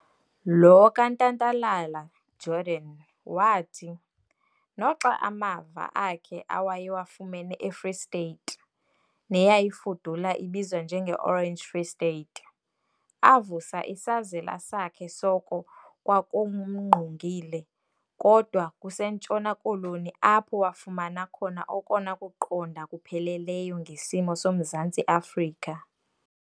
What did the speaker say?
Lo kaNtantala- Jordan wathi, noxa amava akhe awayewafumene eFree State, neyayifudula ibizwa njenge Orange Free State , avusa isazela sakhe soko kwakumngqongile kodwa kuseNtshona Koloni apho wafumana khona okona kuqonda kupheleleyo ngesimo soMzantsi Afrika.